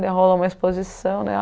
Daí rolou uma exposição, né?